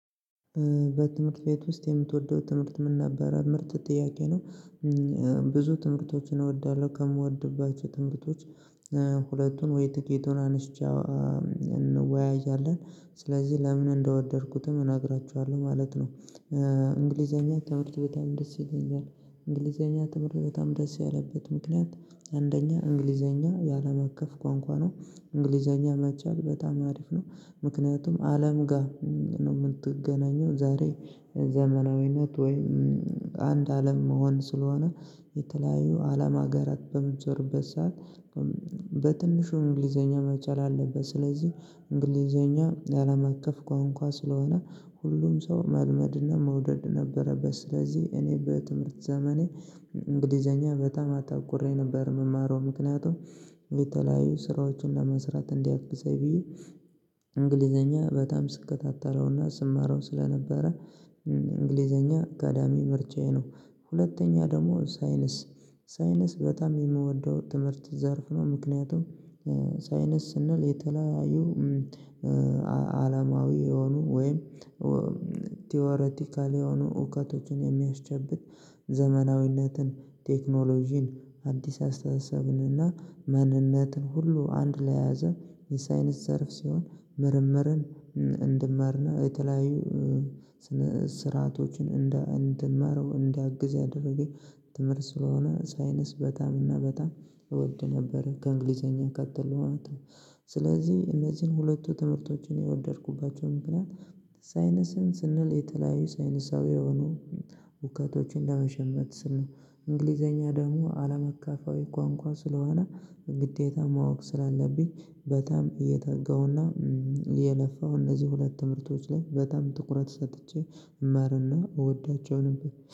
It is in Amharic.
በትምህርት ቤት ውስጥ የምትወደው ትምህርት ምን ነበረ? ምርጥ ጥያቄ ነው ብዙ ትምህርቶችን እወዳለሁ ከምወድባቸው ትምህርቶች ሁለቱን ወይ ትቂቱን አንስቼ እንወያያለን ስለዚህ ለምን እንደወደድኩትም እነግራችኋለሁ ማለት ነው እንግሊዘኛ ትምህርት በጣም ደስ ይለኛል እንግሊዘኛ ትምህርት በጣም ደስ ያለበት ምክንያት አንደኛ እንግሊዘኛ የአለም አቀፍ ቋንቋ ነው። እንግሊዘኛ መቻል በጣም አሪፍ ነው ምክንያቱም አለም ጋር ነው የምትገናኘው ዛሬ ዘመናዊነት ወይም አንድ አለም መሆን ስለሆነ የተለያዩ አለም ሀገራት በምትዞርበት ሰዓት በትንሹ እንግሊዘኛ መቻል አለበት። ስለዚህ እንግሊዘኛ የአለም አቀፍ ቋንቋ ስለሆነ ሁሉም ሰው መልመድና መውደድ ነበረበት። ስለዚህ እኔ በትምህርት ዘመኔ እንግሊዘኛ በጣም አተኩሬ ነበር የምማረው ምክንያቱም የተለያዩ ስራዎችን ለመስራት እንዲያውቅ እዛ ብዬ እንግሊዘኛ በጣም ስከታተለውና ስማረው ስለነበረ እንግሊዘኛ አካዳሚ ምርጫዬ ነው። ሁለተኛ ደግሞ ሳይንስ፤ ሳይንስ በጣም የምወደው ትምህርት ዘርፍ ነው። ምክንያቱም ሳይንስ ስንል የተለያዩ አለማዊ የሆኑ ወይም ቲዎረቲካል የሆኑ እውቀቶችን የሚያስጨብጥ ዘመናዊነትን፣ ቴክኖሎጂን፣ አዲስ አስተሳሰብን እና ማንነትን ሁሉ አንድ ላይ የያዘ የሳይንስ ዘርፍ ሲሆን ምርምርን እንድማር እና የተለያዩ ስርዓቶችን እንደ እንድማረው እንዲያግዝ ያደረገኝ ትምህርት ስለሆነ ሳይንስ በጣም እና በጣም እወድ ነበር። ከእንግሊዘኛ ቀጥሎ ስለዚህ እነዚህን ሁለቱ ትምህርቶችን የወደድኩባቸው ምክንያት ሳይንስን ስንል የተለያዩ ሳይንሳዊ የሆኑ እውቀቶችን ለመሸመት ስንል እንግሊዘኛ ደግሞ አለማቀፋዊ ቋንቋ ስለሆነ በግዴታ ማወቅ ስላለብኝ በጣም እየተጋሁና እየለፋሁ እነዚህ ሁለት ምርቶች ላይ በጣም ትኩረት ሰጥቼ እማርና እወዳቸው ነበር።